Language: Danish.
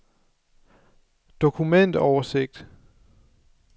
dokumentoversigt